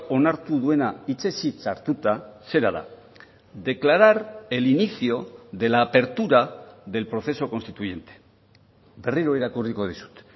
onartu duena hitzez hitz hartuta zera da declarar el inicio de la apertura del proceso constituyente berriro irakurriko dizut